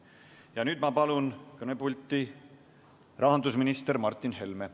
Ja nüüd ma palun kõnepulti rahandusminister Martin Helme!